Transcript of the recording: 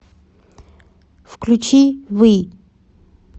включи ви